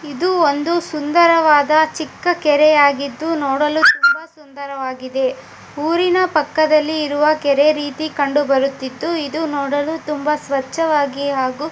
ಇದು ಒಂದು ಸುಂದರವಾದ ಚಿಕ್ಕಕೆರೆಯಾಗಿದ್ದು ನೋಡಲು ತುಂಬಾ ಸುಂದರವಾಗಿದೆ ಊರಿನ ಪಕ್ಕದಲ್ಲಿರುವ ಕೆರೆ ರೀತಿ ಕಂಡು ಬರುತಿತ್ತು ಇದು ನೋಡು ತುಂಬಾ ಸ್ವಚ್ಛವಾಗಿ ಹಾಗು--